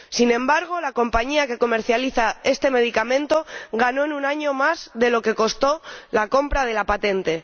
Sin embargo, la compañía que comercializa este medicamento ganó en un año más de lo que costó la compra de la patente.